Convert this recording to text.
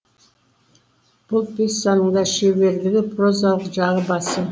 бұл пьесаның да шеберлігі прозалық жағы басым